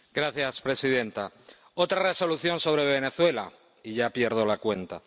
Señora presidenta, otra Resolución sobre Venezuela, y ya pierdo la cuenta.